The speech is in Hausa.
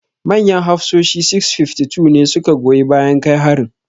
Manyan hafsoshi 652 ne su ka goyi bayan kai harin.